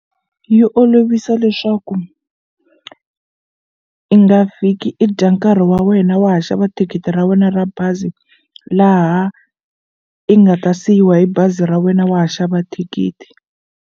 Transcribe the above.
Yi olovisa leswaku i nga fiki i dya nkarhi wa wena wa ha xava thikithi ra wena ra bazi laha i nga ta siyiwa hi bazi ra wena wa ha xava thikithi.